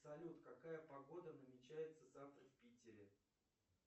салют какая погода намечается завтра в питере